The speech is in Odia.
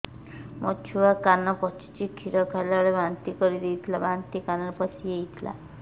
ମୋ ଛୁଆ କାନ ପଚୁଛି କ୍ଷୀର ଖାଇଲାବେଳେ ବାନ୍ତି କରି ଦେଇଥିଲା ବାନ୍ତି କାନରେ ପଶିଯାଇ ଥିଲା